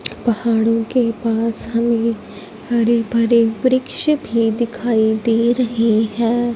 पहाड़ों के पास हमें हरे भरे वृक्ष भी दिखाई दे रही है।